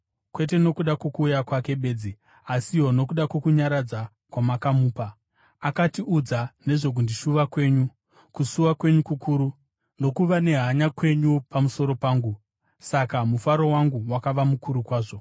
kwete nokuda kwokuuya kwake bedzi, asiwo nokuda kwokunyaradza kwamakamupa. Akatiudza nezvokundishuva kwenyu, kusuwa kwenyu kukuru, nokuva nehanya kwenyu pamusoro pangu, saka mufaro wangu wakava mukuru kwazvo.